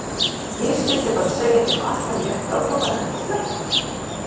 Ég skyldi bara segja þeim allt af létta og þá væri hægt að sleppa mér.